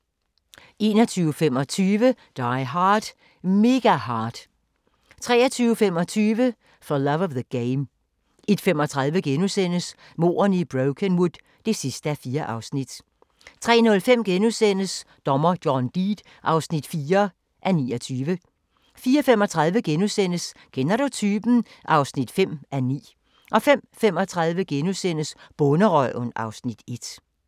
21:25: Die Hard – Mega Hard 23:25: For Love of the Game 01:35: Mordene i Brokenwood (4:4)* 03:05: Dommer John Deed (4:29)* 04:35: Kender du typen? (5:9)* 05:35: Bonderøven (Afs. 1)*